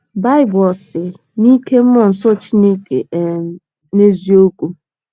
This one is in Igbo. Baịbụl Ò Si “ n’Ike Mmụọ Nsọ Chineke ” um n’Eziokwu?